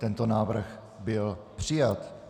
Tento návrh byl přijat.